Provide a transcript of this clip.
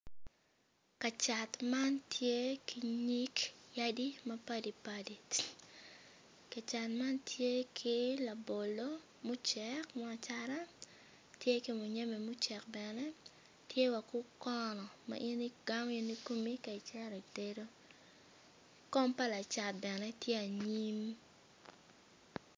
Kacat man tye ki nyig yadi mapadipadi ka cat man tye ki labolo me acata tye ki muyembe mucek bene tye bene ki okono ma in igamo in kikomi ci itedo.